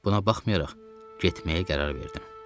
Buna baxmayaraq, getməyə qərar verdim.